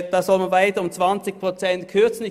Man soll um weitere 20 Prozent kürzen.